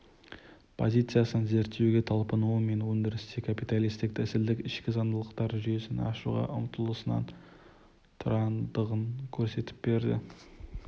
позициясынан зерттеуге талпынуы мен өндірісте капиталистік тәсілдің ішкі заңдылықтар жүйесін ашуға ұмтылысынан тұратындығын көрсетіп берді